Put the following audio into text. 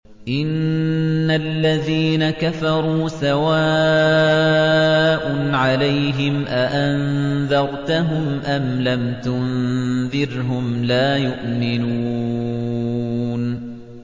إِنَّ الَّذِينَ كَفَرُوا سَوَاءٌ عَلَيْهِمْ أَأَنذَرْتَهُمْ أَمْ لَمْ تُنذِرْهُمْ لَا يُؤْمِنُونَ